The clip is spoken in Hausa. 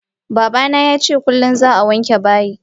Babana yace kullum za'a wanke bayi.